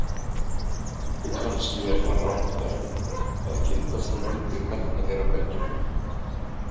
Kannski er það rangt af henni að kynda svona undir metnað þeirra beggja.